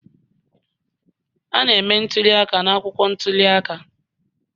A na-eme ntuli aka n'akwụkwọ ntuli aka